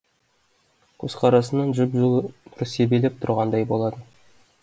көзқарасынан жып жылы нұр себелеп тұрғандай болады